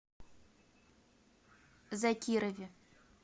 закирове